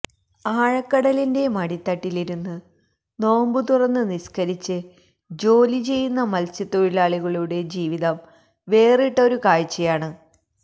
ആഴക്കടലിന്റെ മടിത്തട്ടിലിരുന്ന് നോമ്പ് തുറന്ന് നിസ്കരിച്ച് ജോലി ചെയ്യുന്ന മൽസ്യത്തൊഴിലാളികളുടെ ജീവിതം വേറിട്ടൊരു കാഴ്ചയാണ്